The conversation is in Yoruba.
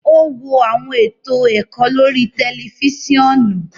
O wo awọn eto ẹkọ lori tẹlifisiọnu